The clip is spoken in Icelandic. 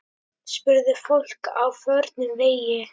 Spurði fólk á förnum vegi.